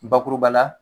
Bakuruba la